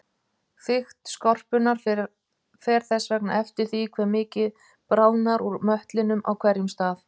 Þykkt skorpunnar fer þess vegna eftir því hve mikið bráðnar úr möttlinum á hverjum stað.